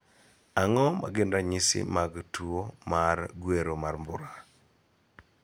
Ang�o ma gin ranyisi mag tuo mar gwero mar mbura?